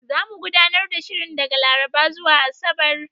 Zamu gudanar da shirin daga Laraba zuwa Asabar.